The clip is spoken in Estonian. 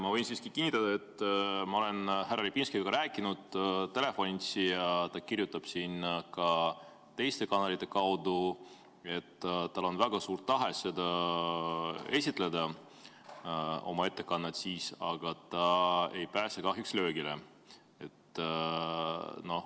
Ma võin siiski kinnitada, et ma olen härra Repinskiga telefonitsi rääkinud ja ta kirjutab ka teiste kanalite kaudu, et tal on väga suur tahe esitada oma ettekannet, aga ta ei pääse kahjuks löögile.